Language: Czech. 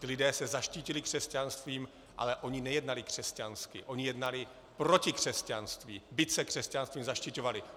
Ti lidé se zaštítili křesťanstvím, ale oni nejednali křesťansky, oni jednali proti křesťanství, byť se křesťanstvím zaštiťovali.